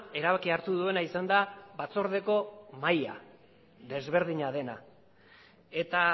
erabakia hartu duena izan da batzordeko mahaia ezberdina dena eta